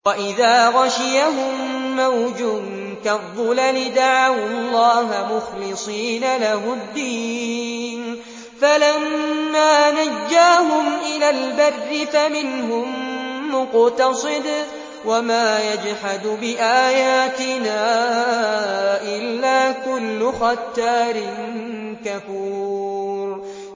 وَإِذَا غَشِيَهُم مَّوْجٌ كَالظُّلَلِ دَعَوُا اللَّهَ مُخْلِصِينَ لَهُ الدِّينَ فَلَمَّا نَجَّاهُمْ إِلَى الْبَرِّ فَمِنْهُم مُّقْتَصِدٌ ۚ وَمَا يَجْحَدُ بِآيَاتِنَا إِلَّا كُلُّ خَتَّارٍ كَفُورٍ